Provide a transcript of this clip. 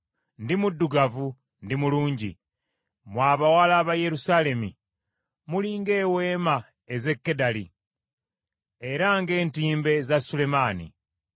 Ndi muddugavu, ndi mulungi, Mmwe abawala ba Yerusaalemi muli ng’eweema ez’e Kedali, era ng’entimbe za Sulemaani.